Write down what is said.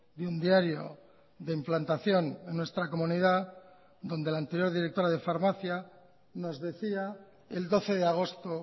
de un diario de implantación en nuestra comunidad donde la anterior directora de farmacia nos decía el doce de agosto